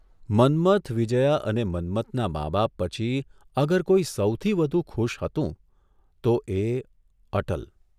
મન્મથ, વિજ્યા અને મન્મથનાં મા બાપ પછી અગર કોઇ સૌથી વધુ ખુશ હતું તો એ અટલ!